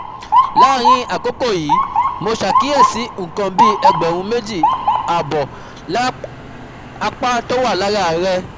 Láàárín àkókò yìí, mo ṣàkíyèsí nǹkan bí ẹgbẹ̀rún méjì ààbọ̀ àpá tó wà lára rẹ̀